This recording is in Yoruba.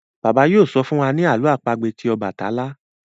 Bàbá yóò sọ fún wá ní àlọ́ àpagbè tí obatalá.